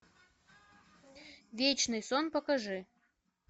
вечный сон покажи